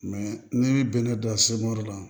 ne bɛnɛ dan la